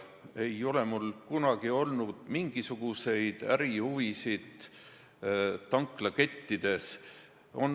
Ei ole mul kunagi olnud mingisuguseid ärihuvisid tanklakettides.